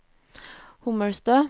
Hommelstø